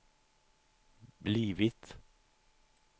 blivit